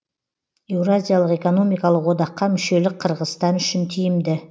еуразиялық экономикалық одаққа мүшелік қырғызстан үшін тиімді